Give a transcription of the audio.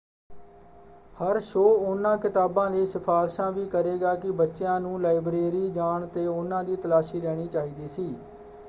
ਹਰ show ਉਹਨਾਂ ਕਿਤਾਬਾਂ ਲਈ ਸਿਫਾਰਸ਼ਾਂ ਵੀ ਕਰੇਗਾ ਕਿ ਬੱਚਿਆਂ ਨੂੰ ਲਾਇਬ੍ਰੇਰੀ ਜਾਣ ‘ਤੇ ਉਹਨਾਂ ਦੀ ਤਲਾਸ਼ੀ ਲੈਣੀ ਚਾਹੀਦੀ ਸੀ।